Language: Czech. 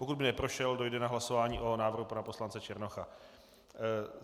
Pokud by neprošel, dojde na hlasování o návrhu pana poslance Černocha.